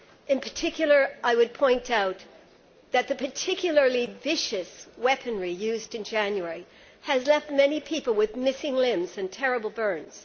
I would especially point out that the particularly vicious weaponry used in January has left many people with missing limbs and terrible burns.